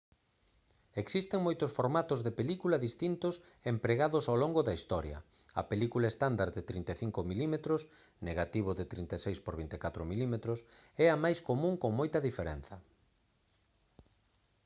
existen moitos formatos de película distintos empregados ao longo da historia. a película estándar de 35 mm negativo de 36 por 24 mm é a máis común con moita diferenza